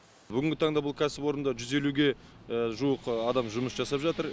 бүгінгі таңда бұл кәсіпорында жүз елуге жуық адам жұмыс жасап жатыр